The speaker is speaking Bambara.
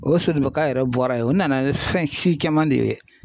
O ye yɛrɛ bɔra ye o nana ni fɛnsi caman de ye.